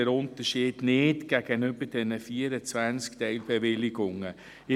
Ich sehe dort den Unterschied gegenüber den 24 Teilbewilligungen nicht.